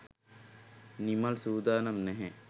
නිමල් සූදානම් නැහැ.